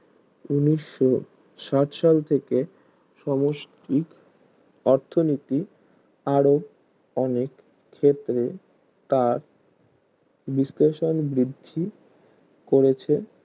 উনিশ সাইট সাল থেকে সমষ্টিক অর্থনীতি আরো অনেক ক্ষেত্রে তার বিশ্লেষণ বৃদ্ধি করেছে